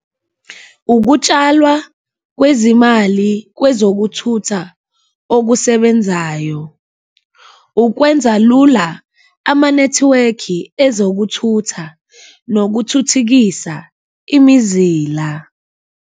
Ukutshalwa kwezimali kwezokuthutha okusebenzayo, ukwenza lula amanethiwekhi ezokuthutha nokuthuthikisa imizila.